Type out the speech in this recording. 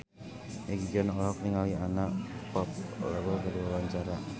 Egi John olohok ningali Anna Popplewell keur diwawancara